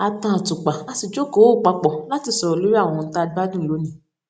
a tan àtùpà a sì jókòó pa pọ̀ láti sọ̀rọ̀ lórí àwọn ohun tá a gbádùn lónìí